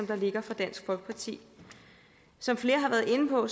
der ligger fra dansk folkeparti som flere har været inde på